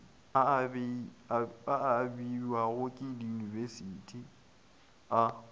a abiwago ke diyunibesithi a